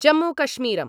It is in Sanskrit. जम्मूकश्मीरम्